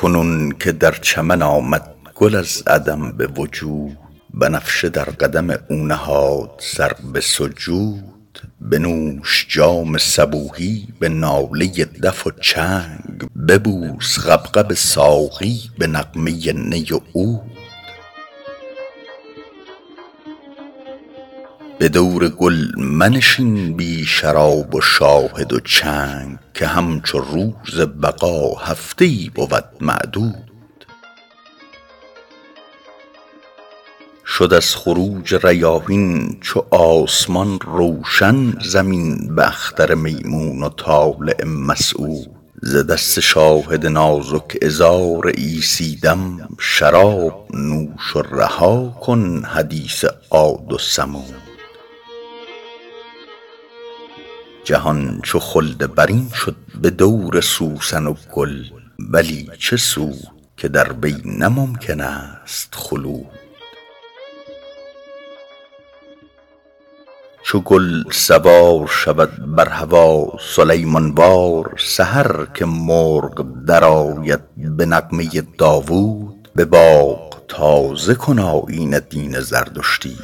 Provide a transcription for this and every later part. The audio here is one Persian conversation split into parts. کنون که در چمن آمد گل از عدم به وجود بنفشه در قدم او نهاد سر به سجود بنوش جام صبوحی به ناله دف و چنگ ببوس غبغب ساقی به نغمه نی و عود به دور گل منشین بی شراب و شاهد و چنگ که همچو روز بقا هفته ای بود معدود شد از خروج ریاحین چو آسمان روشن زمین به اختر میمون و طالع مسعود ز دست شاهد نازک عذار عیسی دم شراب نوش و رها کن حدیث عاد و ثمود جهان چو خلد برین شد به دور سوسن و گل ولی چه سود که در وی نه ممکن است خلود چو گل سوار شود بر هوا سلیمان وار سحر که مرغ درآید به نغمه داوود به باغ تازه کن آیین دین زردشتی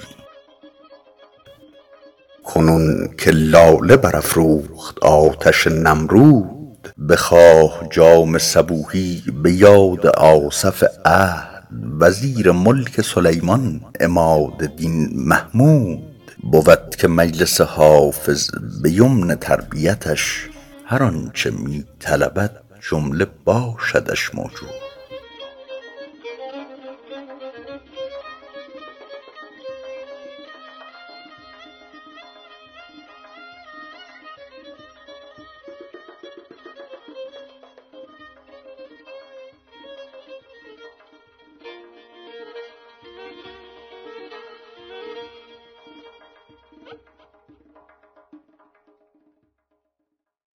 کنون که لاله برافروخت آتش نمرود بخواه جام صبوحی به یاد آصف عهد وزیر ملک سلیمان عماد دین محمود بود که مجلس حافظ به یمن تربیتش هر آن چه می طلبد جمله باشدش موجود